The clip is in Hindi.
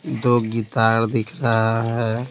दो गिटार दिख रहा है।